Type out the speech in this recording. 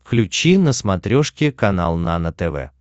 включи на смотрешке канал нано тв